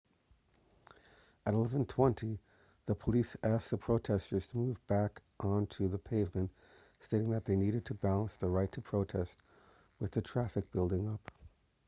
at 11:20 the police asked the protesters to move back on to the pavement stating that they needed to balance the right to protest with the traffic building up